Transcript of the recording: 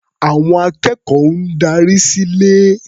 Àwọn akẹ́kọ̀ọ́ ń darí sílé.